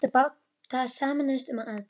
Menn sem áttu báta sameinuðust um aðdrætti.